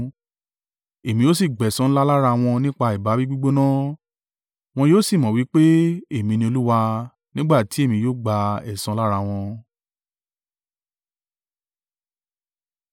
Èmi yóò sì gbẹ̀san ńlá lára wọn nípa ìbáwí gbígbóná; wọn yóò sì mọ̀ wí pé, Èmi ni Olúwa. Nígbà tí èmi yóò gba ẹ̀san lára wọn.” ’”